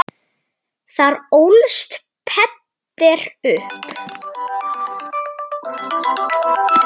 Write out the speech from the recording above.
Þar ólst Peder upp.